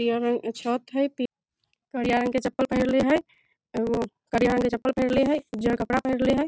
हरियर रंग के छत हेय पी करिया रंग के चप्पल पहिरले हेय।